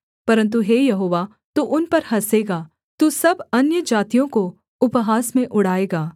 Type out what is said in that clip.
परन्तु हे यहोवा तू उन पर हँसेगा तू सब अन्यजातियों को उपहास में उड़ाएगा